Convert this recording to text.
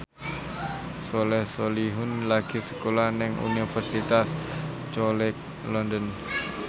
Soleh Solihun lagi sekolah nang Universitas College London